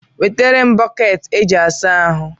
Nweterem Boketi e ji asa ahụ